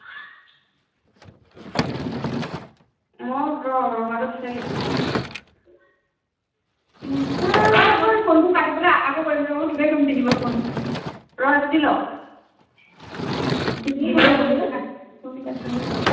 মই ৰ ৰঙা টো বিচাৰি আছো অই মই তোক phone টো কাটি পেলাই আকৌ কৰিম ৰ মই তোকে কৰিম তিনি বাৰ phone ৰ এইটো দি লও phone কাটি লও ৰ